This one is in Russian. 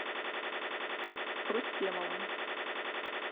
рустемова